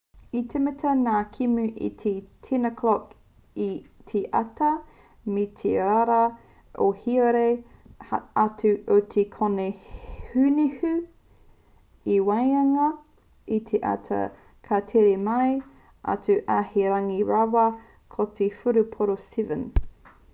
i tīmata ngā kēmu i te 10:00 i te ata me te pai rawa o te huarere atu i te kōnehunehu i waenga i te ata ka tere mao atu ā he rangi pai rawa mō te whutupōro 7